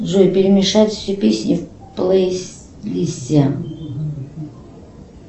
джой перемешать все песни в плейлисте